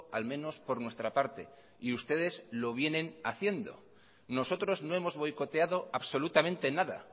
al menos por nuestra parte y ustedes lo vienen haciendo nosotros no hemos boicoteado absolutamente nada